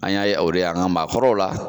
An y'a ye o de ye an ka maakɔrɔw la